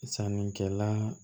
Sannikɛla